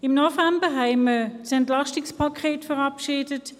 Im November haben wir das Entlastungspaket verabschiedet.